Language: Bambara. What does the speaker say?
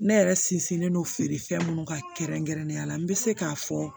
Ne yɛrɛ sinsinnen don feere fɛn minnu ka kɛrɛnkɛrɛnnenya la n bɛ se k'a fɔ